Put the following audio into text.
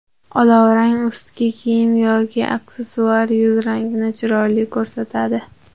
Olovrang ustki kiyim yoki aksessuar yuz rangini chiroyli ko‘rsatadi.